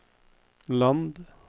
land